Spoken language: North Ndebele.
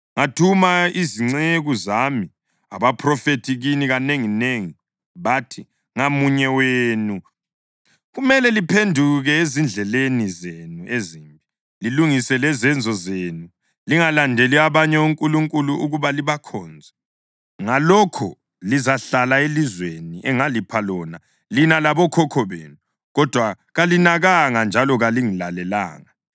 Ngathuma izinceku zami abaphrofethi kini kanenginengi. Bathi, “Ngamunye wenu kumele liphenduke ezindleleni zenu ezimbi lilungise lezenzo zenu; lingalandeli abanye onkulunkulu ukuba libakhonze. Ngalokho lizahlala elizweni engalipha lona lina labokhokho benu.” Kodwa kalinakanga, njalo kalingilalelanga.